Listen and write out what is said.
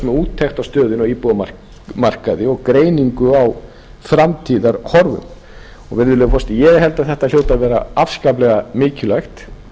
úttekt á stöðunni á íbúðamarkaði og greiningu á framtíðarhorfum virðulegi forseti ég held að þetta hljóti að vera afskaplega mikilvægt